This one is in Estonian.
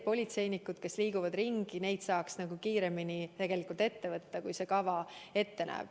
Politseinikud, kes liiguvad ringi, neid saaks kiiremini ette võtta, kui see kava ette näeb.